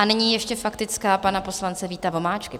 A nyní ještě faktická pana poslance Víta Vomáčky.